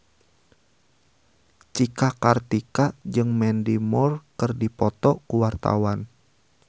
Cika Kartika jeung Mandy Moore keur dipoto ku wartawan